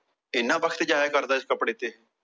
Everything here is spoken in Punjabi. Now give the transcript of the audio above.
ਇੰਨਾ ਵਖਤ ਜਾਇਆ ਕਰਦਾ ਇਸ ਕੱਪੜੇ ਤੇ